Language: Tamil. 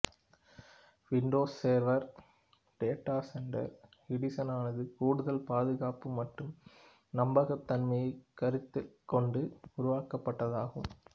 விண்டோஸ் சேர்வர் டேட்டா செண்டர் எடிசனானது கூடுதல் பாதுகாப்பு மற்றும் நம்பகத் தன்மையைக் கருத்திற் கொண்டு உருவாக்கப்பட்டதாகும்